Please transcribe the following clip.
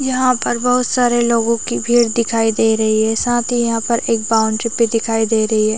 यहाँ पर बहोत सारे लोगो की भीड़ दिखाई दे रही है साथ ही यहाँ पर एक बाउंड्री भी दिखाई दे रही है।